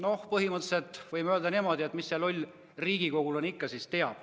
No põhimõtteliselt võime öelda niimoodi, et mis see loll riigikogulane ikka siis teab.